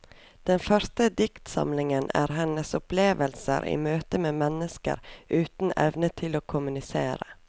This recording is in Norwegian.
Den første diktsamlingen er hennes opplevelser i møte med mennesker uten evne til å kommunisere.